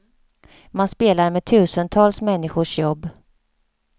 Man spelar med tusentals människors jobb.